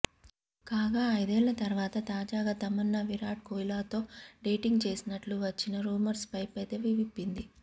కాగా ఐదేళ్ల తర్వాత తాజాగా తమన్నా విరాట్ కోహ్లీతో డేటింగ్ చేసినట్లు వచ్చిన రూమర్స్ పై పెదవి విప్పింది